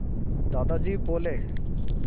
दादाजी बोले